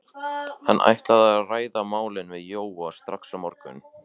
Hann ætlaði að ræða málin við Jóa strax á morgun.